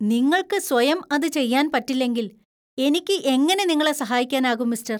നിങ്ങൾക്ക് സ്വയം അത് ചെയ്യാൻ പറ്റില്ലെങ്കിൽ എനിക്ക് എങ്ങനെ നിങ്ങളെ സഹായിക്കാനാകും, മിസ്റ്റര്‍!